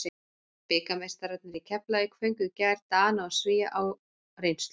Bikarmeistararnir í Keflavík fengu í gær Dana og Svía á reynslu.